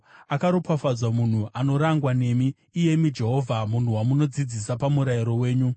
Akaropafadzwa munhu anorangwa nemi, iyemi Jehovha, munhu wamunodzidzisa pamurayiro wenyu;